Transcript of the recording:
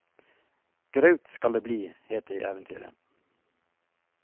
Graut skal det bli, het det i eventyret.